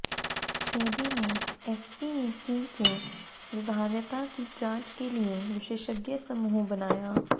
सेबी ने एसपीएसी की व्यवहार्यता की जांच के लिये विशेषज्ञ समूह बनाया